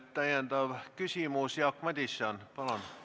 Täpsustav küsimus, Jaak Madison, palun!